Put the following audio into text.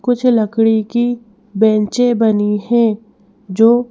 कुछ लकड़ी की बैंचें बनी है जो--